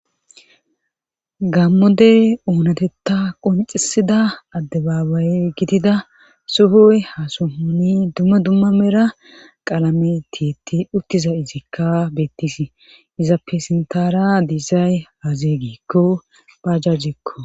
gammodey oonatetta qoncisida adde baabaye gitida suhoy ha suhuni dumma dumma mera qalame tiitti uttiza izikka bettisi izappe sintara disay hazeeygikko pajjajjekko